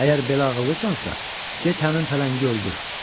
Əgər belə ağıllısansa, get həmin pələngi öldür.